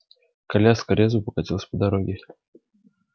коляска резво покатила по дороге